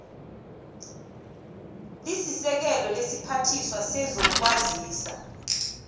lisekela lesiphathiswa sezokwazisa